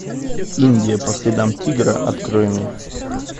индия по следам тигра открой мне